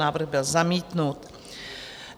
Návrh byl zamítnut.